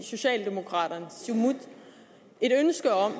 siumut et ønske om